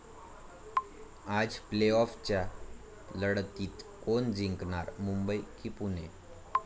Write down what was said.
आज प्ले आॅफच्या लढतीत कोण जिंकणार? मुंबई की पुणे?